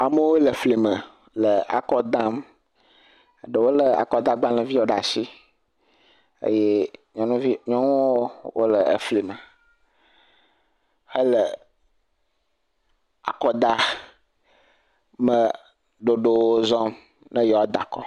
Amewo le fli me le akɔ dam, eɖewo lé akɔdagbalẽ viwo ɖe asi eye nyɔnuvi…nyɔnuwo le elime hele akɔ da meɖoɖowo zɔm ne yewoada akɔ.